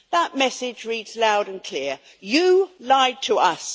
That message reads loud and clear you lied to us.